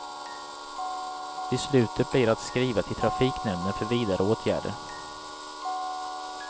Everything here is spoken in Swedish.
Beslutet blir att skriva till trafiknämnden för vidare åtgärder.